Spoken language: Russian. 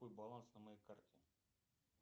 какой баланс на моей карте